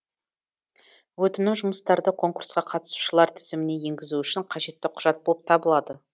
өтінім жұмыстарды конкурсқа қатысушылар тізіміне енгізу үшін қажетті құжат болып табылады